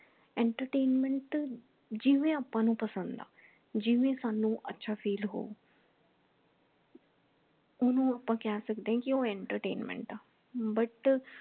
entertainment ਜਿਵੇਂ ਆਪਾ ਨੂੰ ਪਸੰਦ ਹਾ ਜਿਵੇਂ ਸਾਨੂ ਅੱਛਾ feel ਹੋਊ ਓਹਨੂੰ ਆਪਾ ਕਹਿ ਸਕਦੇ ਹੈ ਕਿ ਉਹ entertainment ਹਾ but